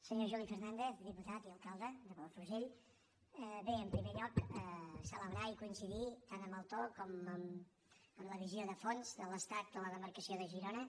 senyor juli fernandez diputat i alcal·de de palafrugell bé en primer lloc celebrar i coinci·dir tant amb el to com amb la visió de fons de l’estat de la demarcació de girona